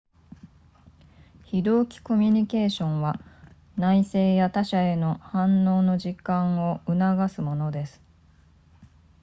非同期コミュニケーションは内省や他者への反応の時間を促すものです